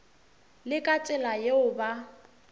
le ka tsela yeo ba